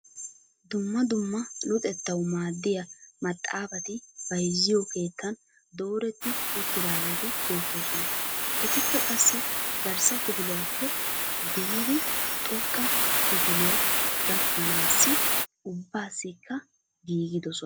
Dumma dumma luxettawu maaddiyaa maaxaafati bayzziyoo keettan dooretti uttidaageti beettoosona. etikka qassi garssa kifiliyaappe biidi xoqqa kifiliyaa gakkanaasi ubbaasikka giigidosona.